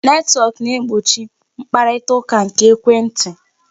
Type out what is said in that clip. Netwọk na-egbochi mkparitaụka nke ekwentị.